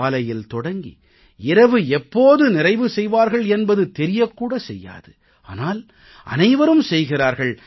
காலையில் தொடங்கி இரவு எப்போது நிறைவு செய்வார்கள் என்பது தெரியக் கூட செய்யாது ஆனால் அனைவரும் செய்கிறார்கள்